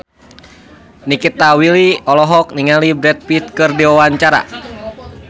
Nikita Willy olohok ningali Brad Pitt keur diwawancara